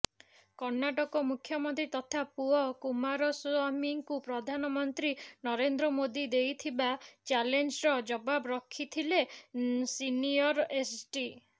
କର୍ଣ୍ଣାଟକ ମୁଖ୍ୟମନ୍ତ୍ରୀ ତଥା ପୁଅ କୁମାରସ୍ବାମୀଙ୍କୁ ପ୍ରଧାନମନ୍ତ୍ରୀ ନରେନ୍ଦ୍ର ମୋଦି ଦେଇଥିବା ଚ୍ୟାଲେଞ୍ଜର ଜବାବ ରଖିଥିଲେ ସିନିୟର ଏଚ୍ଡି